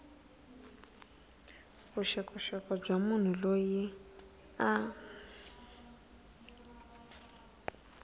vuxokoxoko bya munhu loyi a